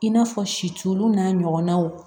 I n'a fɔ situluw n'a ɲɔgɔnnaw